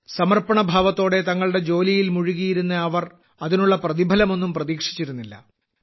സമർപ്പണഭാവത്തോടെ തങ്ങളുടെ ജോലിയിൽ മുഴുകിയിരുന്ന അവർ അതിനുള്ള പ്രതിഫലമൊന്നും പ്രതീക്ഷിച്ചിരുന്നില്ല